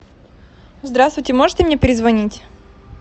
здравствуйте можете мне перезвонить